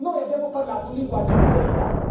Noi abbiamo utilizzato un linguaggio di verità